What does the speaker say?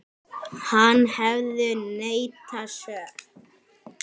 Hann hefur neitað sök.